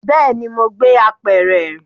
Bẹẹni, mo gbé apẹ̀rẹ̀.